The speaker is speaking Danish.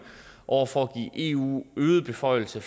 over for at give eu øgede beføjelser